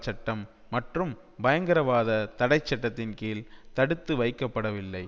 சட்டம் மற்றும் பயங்கரவாத தடை சட்டத்தின் கீழ் தடுத்து வைக்கப்படவில்லை